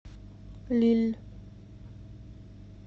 лилль